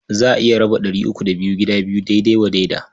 Za a iya raba ɗari uku da biyu gida biyu daidai wa daida.